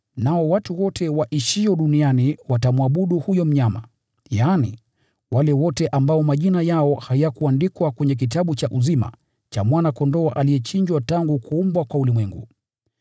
Nao watu wote waishio duniani watamwabudu huyo mnyama, yaani, wale wote ambao majina yao hayakuandikwa kwenye kitabu cha uzima cha Mwana-Kondoo aliyechinjwa tangu kuumbwa kwa ulimwengu.